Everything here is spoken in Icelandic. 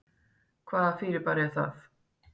Hvaða fyrirbæri er það?